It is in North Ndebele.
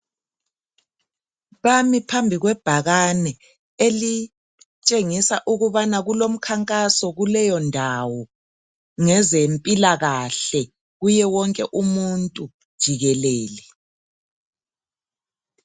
Bami phambi kwebhakane elitshengisa ukubana kulomkhankasi kuleyondawo ngezempilakahle kuye wonke umuntu jikelele.